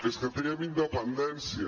és que triem independència